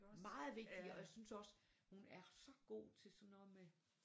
Meget vigtige og jeg synes også hun er så god til sådan noget med